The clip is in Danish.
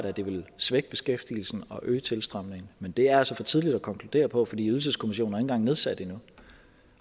at det vil svække beskæftigelsen og øge tilstrømningen men det er altså for tidligt at konkludere på fordi ydelseskommissionen er nedsat endnu